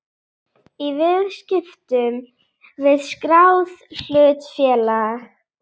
í viðskiptum við skráð hlutafélag.